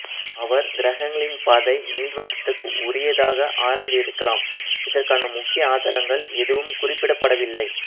அவர் கிரகங்களின் பாதை நீள்வட்டத்துக்கு உரியதாக ஆராய்ந்து இருக்கலாம் இதற்கான முக்கிய ஆதாரங்கள் எதுவும் குறிப்பிடப் படவில்லை